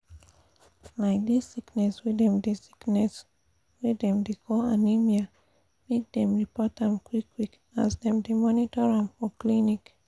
like this sickness wey dem sickness wey dem dey call anemia make dem report am qik qik as dem dey monitor am for clinics